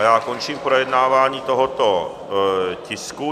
A já končím projednávání tohoto tisku.